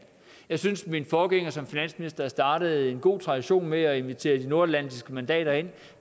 jeg synes at min forgænger som finansminister startede en god tradition med at invitere de nordatlantiske mandater ind